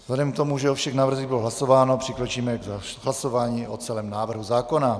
Vzhledem k tomu, že o všech návrzích bylo hlasováno, přikročíme k hlasování o celém návrhu zákona.